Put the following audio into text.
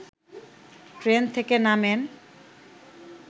train থেকে নামেন